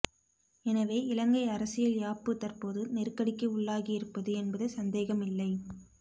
எனவே இலங்கை அரசியல் யாப்பு தற்போது நெருக்கடிக்கு உள்ளாகியிருப்பது என்பது சந்தேகமில்லை